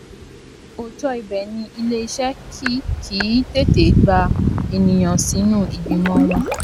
òótó ibè ni iléeṣẹ kì kì í tètè gba ènìyàn sínú ìgbìmọ wọn